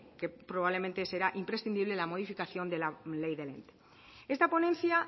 que probablemente será imprescindible la modificación de la ley del ente esta ponencia